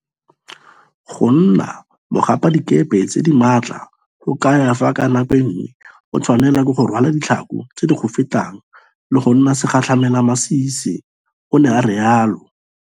Go nna mogapadikepe tse di maatla go kaya fa ka nako nngwe o tshwanelwa ke go rwala ditlhako tse di go fetang le go nna segatlhamelamasisi, o ne a rialo.